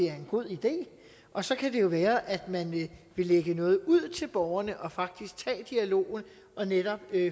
er en god idé og så kan det jo være at man vil lægge noget ud til borgerne og faktisk tage dialogen og netop